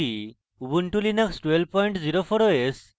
ubuntu linux 1204 os